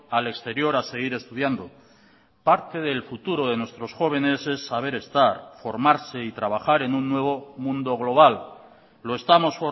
al exterior a seguir estudiando parte del futuro de nuestros jóvenes es saber estar formarse y trabajar en un nuevo mundo global lo estamos